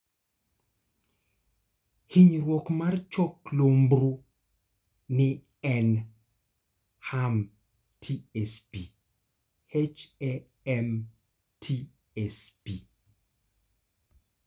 hinyruok mar chok lumbru ni en (HAM/TSP).